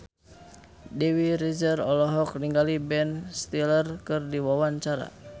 Dewi Rezer olohok ningali Ben Stiller keur diwawancara